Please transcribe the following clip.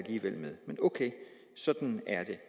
men ok sådan er det